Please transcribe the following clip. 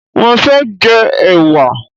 Mo fé jẹ ẹ̀wà